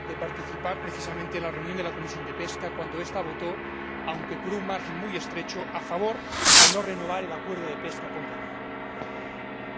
Señor Presidente, yo tuve el honor de participar, precisamente, en la reunión de la Comisión de Pesca cuando votó, aunque por un margen muy estrecho, a favor de no renovar el acuerdo de pesca con Guinea,